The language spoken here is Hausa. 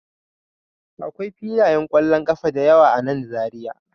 Akwai filayen kwallon kafa da yawa a nan Zariya